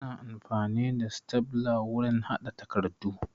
Ana amfani da stafla wurin haɗa takardu